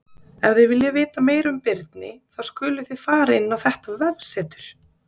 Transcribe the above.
Ef þið viljið vita meira um birni þá skuluð þið fara inn á þetta vefsetur.